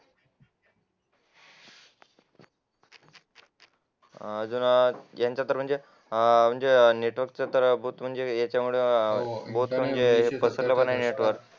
अं यांच्या तर म्हणजे म्हणजे नेटवर्क तर बोथ म्हणजे याच्यामुळे